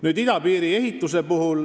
Nüüd idapiiri ehitusest.